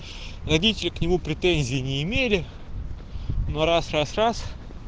родители к нему претензии не имели но раз раз раз